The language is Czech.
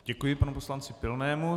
Děkuji panu poslanci Pilnému.